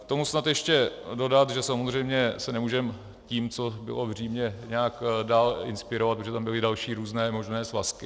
K tomu snad ještě dodat, že samozřejmě se nemůžeme tím, co bylo v Římě, nějak dál inspirovat, protože tam byly další různé možné svazky.